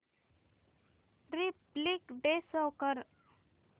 Republic day show कर